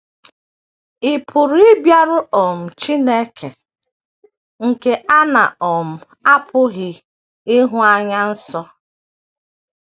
Ị̀ Pụrụ Ịbịaru um Chineke nke A Na - um apụghị Ịhụ Anya Nso?